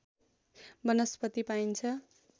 वनस्पति पाइन्छ